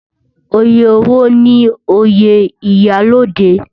Oyè wo ni oyè iyalode?